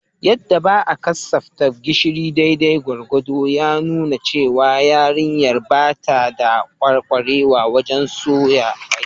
Yadda ba a kasaftawa gishiri daidai gwargwado ya nuna cewa yarinyar ba ta da kwarewa wajen soya kwai